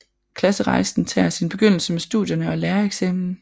Klasserejsen tager sin begyndelse med studierne og lærereksamen